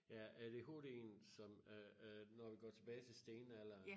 Ja ADHDen som øh øh når vi går tilbage til stenalderen